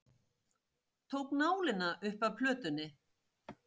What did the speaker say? Tók nálina upp af plötunni.